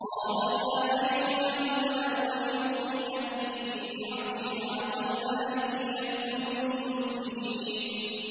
قَالَ يَا أَيُّهَا الْمَلَأُ أَيُّكُمْ يَأْتِينِي بِعَرْشِهَا قَبْلَ أَن يَأْتُونِي مُسْلِمِينَ